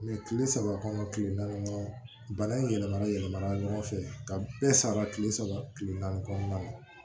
kile saba kɔnɔ kile naani kɔnɔ bana in yɛlɛmalen yɛlɛma ɲɔgɔn fɛ ka bɛɛ sara kile saba kile naani kɔnɔna na